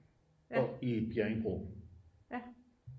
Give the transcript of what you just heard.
Og i Bjerringbro